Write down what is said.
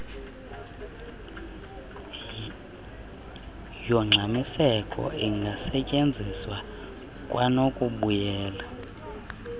yongxamiseko ingasetyenziselwa kwanokubuyela